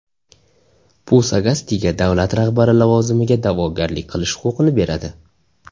Bu Sagastiga davlat rahbari lavozimiga da’vogarlik qilish huquqini beradi.